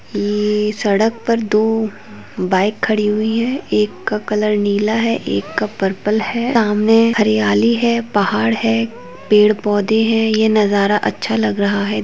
ये-ये-ये- यह सड़क पर दो बाइक खड़ी हुई हैं एक का कलर नीला है और एक का कलर पर्पल है। सामने हरियाली है पहाड़ हैं पेड़ पौधे हैं यह नजारा अच्छा लग रहा है।